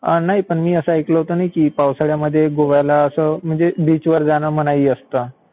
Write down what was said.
नाही, पण मी असा ऐकलं होतं ना की पावसाळ्यामध्ये गोव्याला असं म्हणजे बीचवर जाणं मनाई असतं.